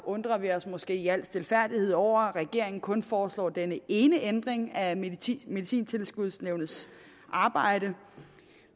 undrer vi os måske i al stilfærdighed over at regeringen kun foreslår denne ene ændring af medicintilskudsnævnets arbejde